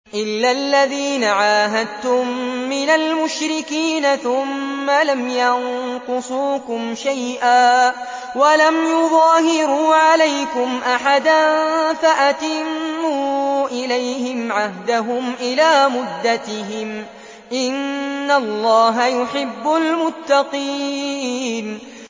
إِلَّا الَّذِينَ عَاهَدتُّم مِّنَ الْمُشْرِكِينَ ثُمَّ لَمْ يَنقُصُوكُمْ شَيْئًا وَلَمْ يُظَاهِرُوا عَلَيْكُمْ أَحَدًا فَأَتِمُّوا إِلَيْهِمْ عَهْدَهُمْ إِلَىٰ مُدَّتِهِمْ ۚ إِنَّ اللَّهَ يُحِبُّ الْمُتَّقِينَ